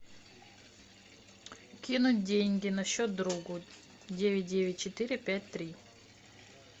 кинуть деньги на счет другу девять девять четыре пять три